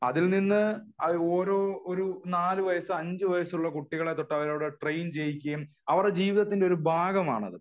അതിൽ നിന്ന് ഒരു നാല് വയസ്സ് അഞ്ചു വയസ്സ് ഉള്ള കുട്ടികളെ തൊട്ടു അവരവിടെ ട്രെയിൻ ചെയ്യിക്കുകയും അവരുടെ ജീവിതത്തിന്റെ ഭാഗമാണ് അത്